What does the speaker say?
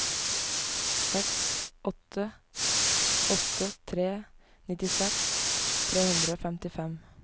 seks åtte åtte tre nittiseks tre hundre og femtifem